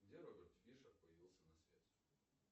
где роберт фишер появился на свет